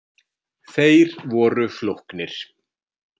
Þeir voru flóknir.